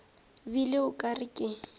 bile o ka re ke